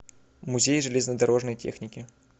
музей железнодорожной техники